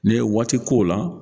N'i ye waati k'o la